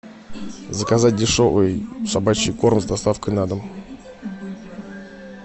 заказать дешевый собачий корм с доставкой на дом